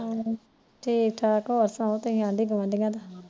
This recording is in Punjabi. ਹਮ ਠੀਕੇ ਹੋਰ ਸਣਾਓ ਆਢੀ ਗੁਆਢੀਆਂ ਦੀ